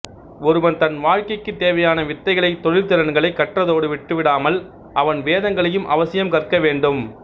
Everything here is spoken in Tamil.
ஒருவன் தன் வாழ்க்கைக்குத் தேவையான வித்தைகளை தொழில்திறன்களை கற்றதோடு விட்டுவிடாமல் அவன் வேதங்களையும் அவசியம் கற்க வேண்டும்